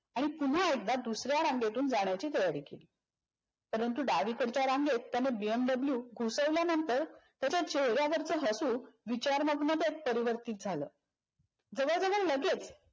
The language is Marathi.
आणि पुन एकदा दुसऱ्या रांगेतून जाण्याची तयारी केली. परंतु डावीकडच्या रांगेत त्याने बीएम दाबलयू घुसवल्यानंतर त्याच्या चेहऱ्यावरच हसू विचारमग्न बस परिवर्तीत झालं. जवळजवळ लगेच